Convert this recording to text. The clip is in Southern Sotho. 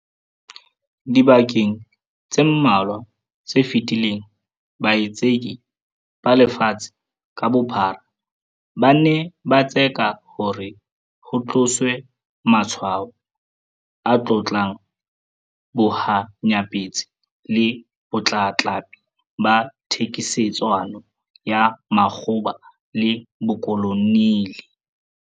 Dibekeng tse mmalwa tse fetileng, baitseki ba lefatshe ka bophara ba ne ba tseka hore ho tloswe matshwao a tlotlang bohanyapetsi le botlatlapi ba thekisetsano ya makgoba le bokoloniale.